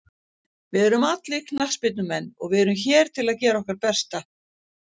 Við erum allir knattspyrnumenn og við erum hér til að gera okkar besta.